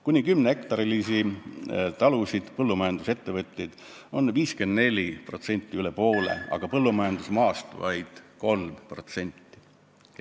Kuni kümnehektarilisi talusid omavaid põllumajandusettevõtjaid on meil üle poole, 54%, aga põllumajandusmaast on nende käes vaid 3%.